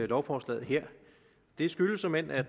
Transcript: lovforslaget her det skyldes såmænd at